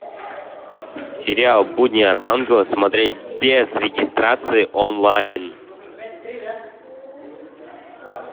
сериал будни архангела смотреть без регистрации онлайн